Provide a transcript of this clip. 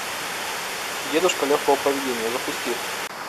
дедушка легкого поведения запусти